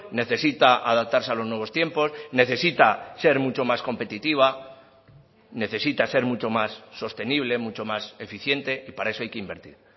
necesita adaptarse a los nuevos tiempos necesita ser mucho más competitiva necesita ser mucho más sostenible mucho más eficiente y para eso hay que invertir